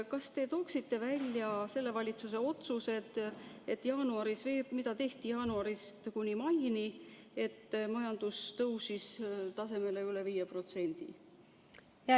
Kas te tooksite välja praeguse valitsuse otsused, mis tehti jaanuarist kuni maini, et majandus tõusis tasemele üle 5%?